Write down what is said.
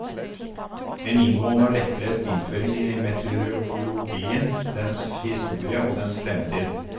En inngående og lettlest innføring i meteorologien, dens historie og dens fremtid.